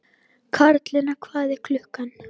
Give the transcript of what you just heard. Karlinna, hvað er klukkan?